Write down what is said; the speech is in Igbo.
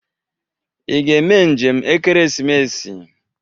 Ị ga-eme njem ekeresimesi?